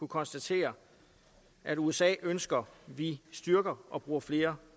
konstatere at usa ønsker vi styrker og bruger flere